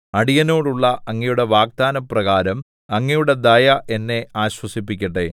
അടിയനോടുള്ള അങ്ങയുടെ വാഗ്ദാനപ്രകാരം അങ്ങയുടെ ദയ എന്നെ ആശ്വസിപ്പിക്കട്ടെ